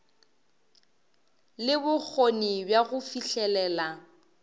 le bokgoni bja go fihlelela